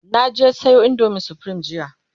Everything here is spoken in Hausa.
na je Sayo indomin supreme jiya